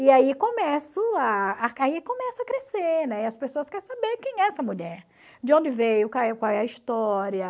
E aí começo a crescer, né, as pessoas querem saber quem é essa mulher, de onde veio, qual é a história.